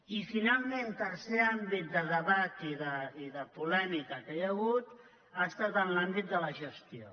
i finalment el tercer àmbit de debat i de polèmica que hi ha hagut ha estat en l’àmbit de la gestió